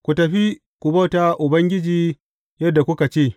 Ku tafi, ku bauta wa Ubangiji yadda kuka ce.